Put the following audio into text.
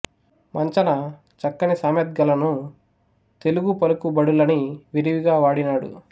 మంచన చక్కని సామెత్గలను తెలుగు పలుకు బడులని విరివిగా వాడినాడు